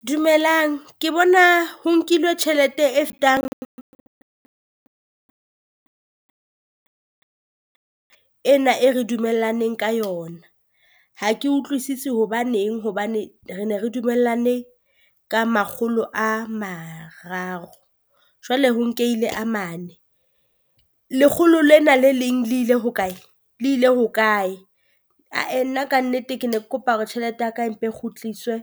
Dumelang ke bona ho nkilwe tjhelete e fetang ena e re dumellaneng ka yona, ha ke utlwisisi hobaneng hobane re ne re dumellane ka makgolo a mararo. Jwale ho nkehile a mane lekgolo lena le leng le ile hokae? Le ile hokae? A-eh nna kannete ke ne ke kopa hore tjhelete ya ka empa e kgutliswe